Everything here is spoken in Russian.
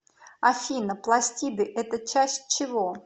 афина пластиды это часть чего